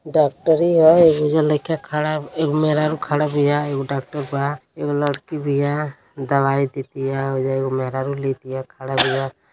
डॉक्टरी ह एगो ओईजा लाइका खड़ा एगो मेहरारू खड़ा बिया एगो डॉक्टर बा। एगो लाइकी बीया दवाई देतीया। ओइजा एगो मेहरारू लेतीया खड़ा बीया।